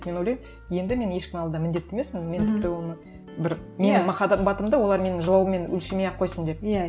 мен ойлаймын енді мен ешкімнің алдында міндетті емеспін мен тіпті оны бір махаббатымды олар менің жылауыммен өлшемей ақ қойсын деп иә